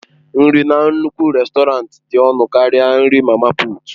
Nri na nnukwu rèstọrantị dị ọnụ karịa nri mama puut.